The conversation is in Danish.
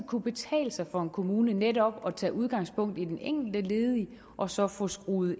kunne betale sig for en kommune netop at tage udgangspunkt i den enkelte ledige og så få skruet